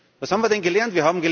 Was haben wir denn gelernt?